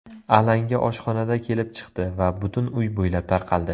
Alanga oshxonada kelib chiqdi va butun uy bo‘ylab tarqaldi.